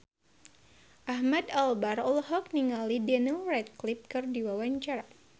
Ahmad Albar olohok ningali Daniel Radcliffe keur diwawancara